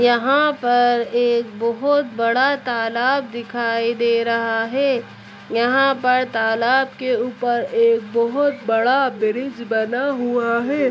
यहाँ पर एक बहुत बड़ा तालाब दिखाई दे रहा है। यहाँ पर तालाब के ऊपर एक बहुत बड़ा ब्रिज बना हुआ है।